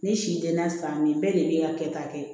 Ni si tɛ na san min bɛɛ de bɛ kɛ ta kɛ